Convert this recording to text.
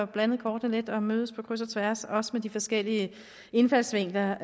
blandet kortene lidt og mødes på kryds og tværs også med de forskellige indfaldsvinkler